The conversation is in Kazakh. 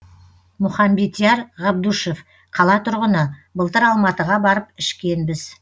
мұхамбетияр ғабдушев қала тұрғыны былтыр алматыға барып ішкенбіз